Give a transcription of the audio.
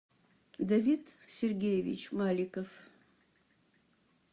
давид сергеевич маликов